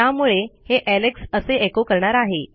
त्यामुळे हे एलेक्स असे एचो करणार आहे